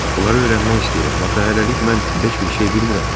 "Bunları öyrənmək istəyirəm, axı hələlik mən heç bir şey bilmirəm."